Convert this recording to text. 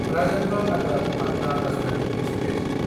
Rajendra Nagar Patna Rajdhani express